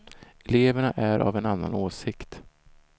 Eleverna är av en annan åsikt.